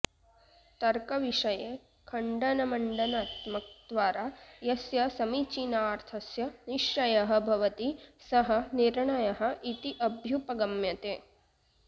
तर्कविषये खण्डनमण्डनात्मकद्वारा यस्य समीचीनार्थस्य निश्चयः भवति सः निर्णयः इति अभ्युपगम्यते